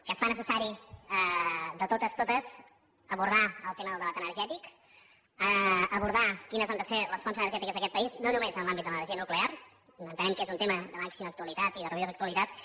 que es fa necessari de totes totes abordar el tema del debat energètic abordar quines han de ser les fonts energètiques d’aquest país no només en l’àmbit de l’energia nuclear entenem que és un tema de màxima actualitat i de rabiosa actualitat